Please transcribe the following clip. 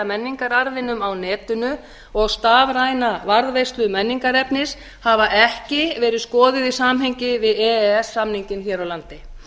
menningararfinum á netinu og stafræna varðveislu menningarefnis hafa ekki verið skoðuð í samhengi við e e s samninginn hér á landi